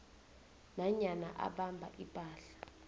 nanyana abamba ipahla